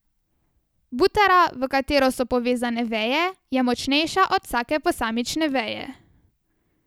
Butara, v katero so povezane veje, je močnejša od vsake posamične veje.